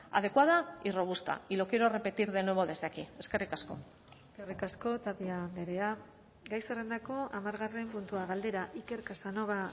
adecuada y robusta y lo quiero repetir de nuevo desde aquí eskerrik asko eskerrik asko tapia andrea gai zerrendako hamargarren puntua galdera iker casanova